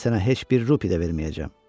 Mən sənə heç bir rupi də verməyəcəm.